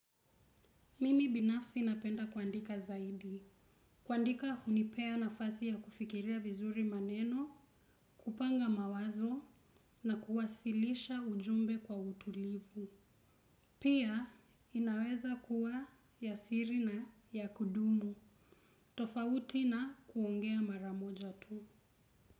Mimi binafsi napenda kuandika zaidi. Kuandika hunipea nafasi ya kufikiria vizuri maneno, kupanga mawazo na kuwasilisha ujumbe kwa utulivu. Pia inaweza kuwa ya siri na ya kudumu. Tofauti na kuongea maramoja tu.